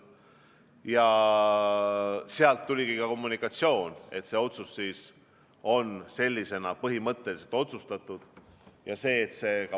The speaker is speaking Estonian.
Ja sealt tuligi kommunikatsioon, et see otsus on sellisena põhimõtteliselt vastu võetud.